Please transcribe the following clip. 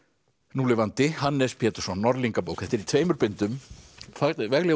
núlifandi Hannes Pétursson Norðlingabók þetta er í tveimur bindum vegleg